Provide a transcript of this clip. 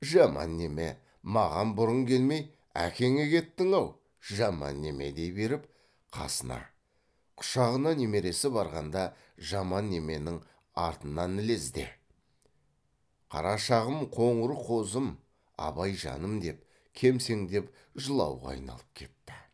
жаман неме маған бұрын келмей әкеңе кеттің ау жаман неме дей беріп қасына құшағына немересі барғанда жаман неменің артынан ілезде қарашағым қоңыр қозым абайжаным деп кемсеңдеп жылауға айналып кетті